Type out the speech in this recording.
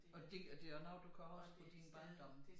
Og det og det også noget der kommer også fra din barndom